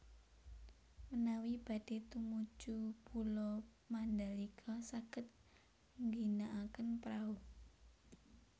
Menawi badhe tumuju Pulo Mandalika saged ngginakaken prahu